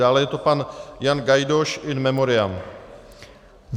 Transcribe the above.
Dále je to pan Jan Gajdoš in memoriam.